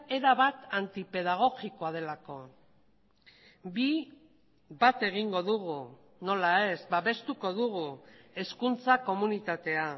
erabat antipedagogikoa delako bi bat egingo dugu nola ez babestuko dugu hezkuntza komunitatea